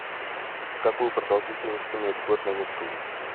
какую продолжительность имеет год на нептуне